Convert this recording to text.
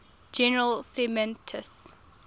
general semantics